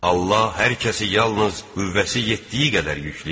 Allah hər kəsi yalnız qüvvəsi yetdiyi qədər yükləyər.